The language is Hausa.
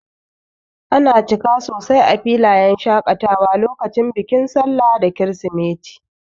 Ana cika sosai a filayen shakatawa lokacin bikin sallah da kirisimeti.